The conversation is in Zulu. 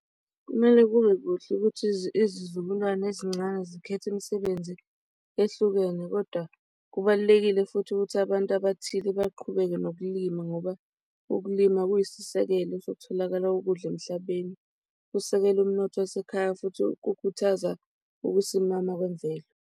Kumele kube kuhle ukuthi izizukulwane ezincane zikhethe imisebenzi ehlukene, kodwa kubalulekile futhi ukuthi abantu abathile baqhubeke nokulima ngoba ukulima kuyisisekelo sokutholakala kokudla emhlabeni, kusekele umnotho wasekhaya, futhi kukhuthaza ukusimama kwenvelo.